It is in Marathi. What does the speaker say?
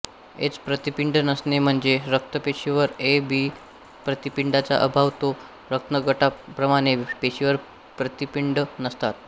एच प्रतिपिंड नसणे म्हणजे रक्तपेशीवर ए आणि बी प्रतिपिंडाचा अभाव ओ रक्तगटाप्रमाणे पेशीवर प्रतिपिंड नसतात